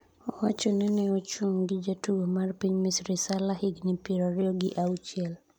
owacho ni ne ochun' gi jatugo ma piny misri Sala higni piero ariyo gi auchiel